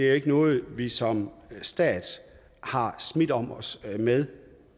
er noget vi som stat har smidt om os med